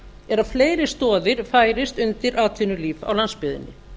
er að fleiri stoðir færist undan atvinnulíf á landsbyggðinni